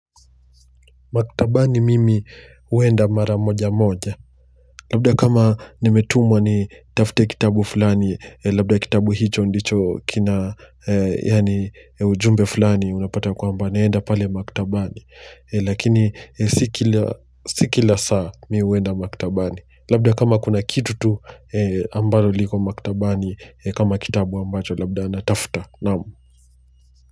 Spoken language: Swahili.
Maktabani mimi huenda mara moja moja, labda kama nimetumwa nitafute kitabu fulani labda kitabu hicho ndicho kina yani ujumbe fulani unapata ya kwamba naenda pale maktabani lakini si kila si kila saa mi uenda maktabani labda kama kuna kitu tu ambaro liko maktabani kama kitabu ambacho labda natafuta naam.